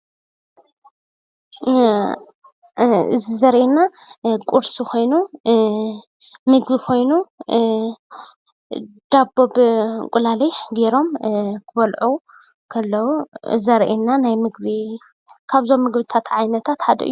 እዚ ዘርእየና ቁርሲ ኮይኑ ምግቢ ኮይኑ ዳቦ ብእንቁላሊሕ ጌሮም ክበልዑ ከለው ዘርእየና ካብዞም ናይ ምግብታት ዓይነታት ሓደ እዩ፡፡